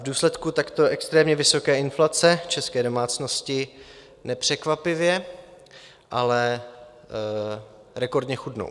V důsledku takto extrémně vysoké inflace české domácnosti nepřekvapivě, ale rekordně chudnou.